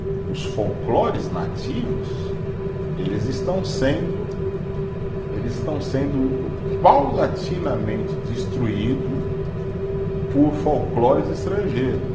Os folclores nativos, eles estão sendo, eles estão sendo paulatinamente destruído por folclores estrangeiros.